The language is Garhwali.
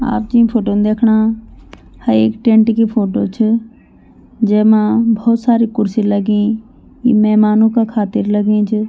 आप जीं फोटो दय्खणा ह एक टेंट की फोटो च जैमा भोत सारी खुर्सी लगीं ई मैमानो का खातिर लगीं च।